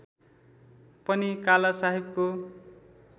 पनि काला साहेबको